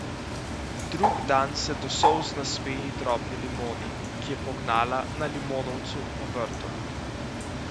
Drug dan se do solz nasmeji drobni limoni, ki je pognala na limonovcu v vrtu.